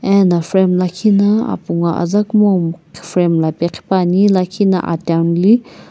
ena frame lakhi na apu ngo aza kumou frame mllape qhipuani lakhi na atianuli.